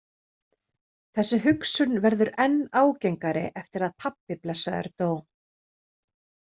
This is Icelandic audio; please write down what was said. Þessi hugsun verður enn ágengari eftir að pabbi blessaður dó.